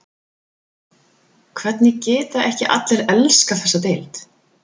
Hvernig geta ekki allir elskað þessa deild?